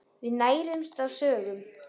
Við nærumst á sögum.